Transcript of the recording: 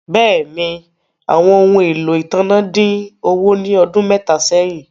Bẹ́ẹ̀ni, àwọn ọhun ẹ̀lọ́ ìtànà dín owo ni ọdún mẹta sẹ́hìn